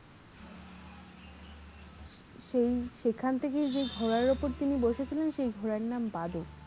সেই সেখান থেকে যে ঘোড়ার ওপর তিনি বসেছিলেন সেই ঘোড়ার নাম বাদো।